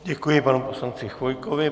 Děkuji panu poslanci Chvojkovi.